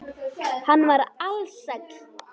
Hann var ALSÆLL.